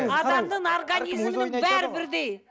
адамның организмінің бәрі бірдей